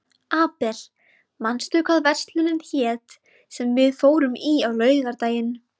Abel, manstu hvað verslunin hét sem við fórum í á laugardaginn?